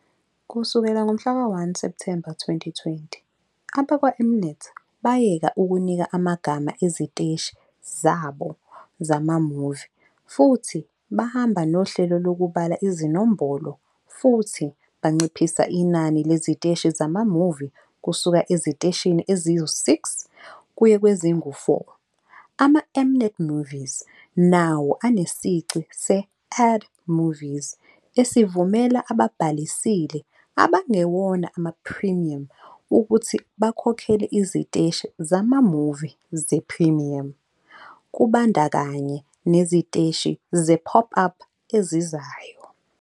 Kusukela ngomhlaka 1 Septhemba 2020, abakwaM-Net bayeka ukunika amagama eziteshi zabo zama-movie futhi bahamba nohlelo lokubala izinombolo futhi banciphisa inani leziteshi zama-movie kusuka eziteshini ezi-6 kuye kwezingu-4. Ama-M-Net Movies nawo anesici se-Add Movies esivumela ababhalisile abangewona ama-premium ukuthi bakhokhele iziteshi zama-movie ze-premium kubandakanya neziteshi ze-pop-up ezizayo.